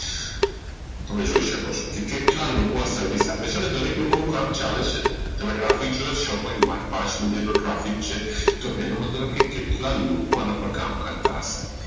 તમે જોઈ શકો છો કેટલાક લોકો આવી Service આપે છે અને દરેક લોકો નું કામ ચાલે છે તમે traffic જોવો બે point છ traffic છે એનો મતલબ કે કેટલા લોકો અને પાર કામ કરતા હશે